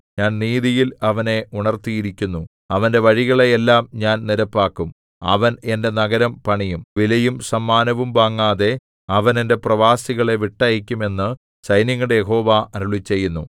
ഞാൻ നീതിയിൽ അവനെ ഉണർത്തിയിരിക്കുന്നു അവന്റെ വഴികളെ എല്ലാം ഞാൻ നിരപ്പാക്കും അവൻ എന്റെ നഗരം പണിയും വിലയും സമ്മാനവും വാങ്ങാതെ അവൻ എന്റെ പ്രവാസികളെ വിട്ടയയ്ക്കും എന്നു സൈന്യങ്ങളുടെ യഹോവ അരുളിച്ചെയ്യുന്നു